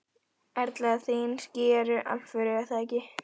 Erla: Þín ský eru alvöru er það ekki?